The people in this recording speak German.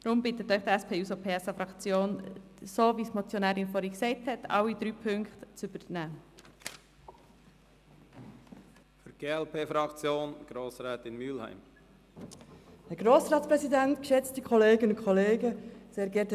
Deshalb bittet Sie die SP-JUSO-PSA-Fraktion, alle drei Punkte zu übernehmen, so wie es die Motionärin vorhin gesagt hat.